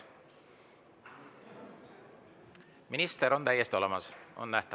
Minister on täiesti olemas, on nähtav.